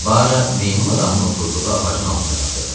Bara meymun adamın oturduğu ağacın altına çatırdı.